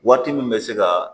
Waati min bɛ se ka